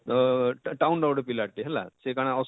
ଅଅଁ town ର ଗୋଟେ ପିଲା ଟେ ହେଲା ସେ କାଣା